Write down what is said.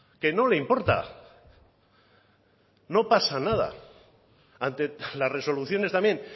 que no le importa no pasa nada ante las resoluciones también